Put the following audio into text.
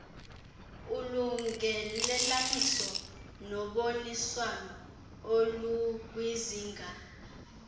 ulungelelaniso noboniswano olukwizinga